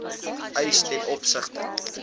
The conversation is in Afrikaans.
eis ten opsigte